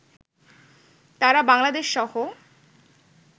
তারা বাংলাদেশ সহ